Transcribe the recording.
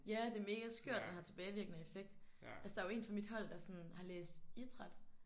Ja det er mega skørt den har tilbagevirkende effekt. Altså der jo en fra mit hold der sådan har læst idræt